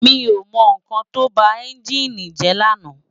Mi ó mò n kán tó bá ènjini jè làná